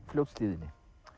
Fljótshlíðinni